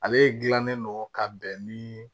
Ale gilannen don ka bɛn ni